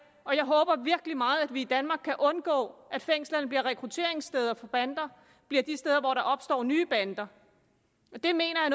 og jeg håber virkelig meget at vi i danmark kan undgå at fængslerne bliver rekrutteringssteder for bander og bliver de steder hvor der opstår nye bander det mener jeg